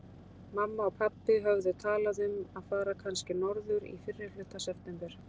Mamma og pabbi höfðu talað um að fara kannski norður í fyrrihluta september.